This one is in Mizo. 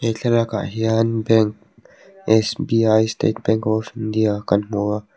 he thlalak ah hian bank state bank of india kan hmu a.